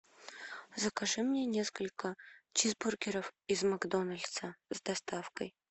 закажи мне несколько чизбургеров из макдональдса с доставкой